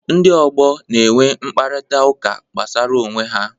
Ndị ọgbọ na-enwe mkparịta ụka gbasara onwe ha.